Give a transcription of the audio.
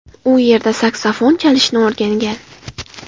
U yerda saksofon chalishni o‘rgangan.